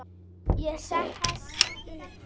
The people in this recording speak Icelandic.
Ég sest upp.